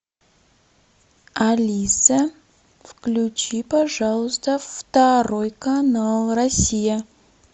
алиса включи пожалуйста второй канал россия